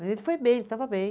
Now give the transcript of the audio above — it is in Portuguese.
Mas ele foi bem, ele estava bem.